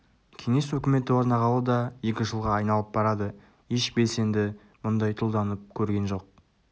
кеңес өкіметі орнағалы да екі жылға айналып барады еш белсенді мұндай тұлданып көрген жоқ